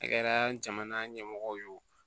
A kɛra jamana ɲɛmɔgɔ ye o